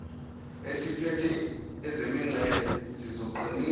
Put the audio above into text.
esiphethe ezemingcele sizoqinisa